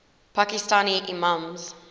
pakistani imams